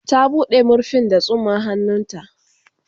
Ta buɗe. marfin da tsumman hannu ta